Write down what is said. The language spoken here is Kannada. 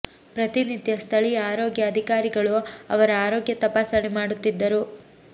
ಪ್ರತಿ ನಿತ್ಯ ಸ್ಥಳೀಯ ಆರೋಗ್ಯ ಅಧಿಕಾರಿಗಳು ಅವರ ಆರೋಗ್ಯ ತಪಾಸಣೆ ಮಾಡುತ್ತಿದ್ದರು